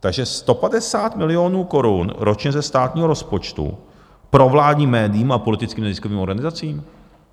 Takže 150 milionů korun ročně ze státního rozpočtu provládním médiím a politickým neziskovým organizacím?